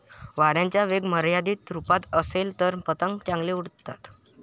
वाऱ्याचा वेग मर्यादित स्वरुपात असेल तर पतंग चांगले उडतात.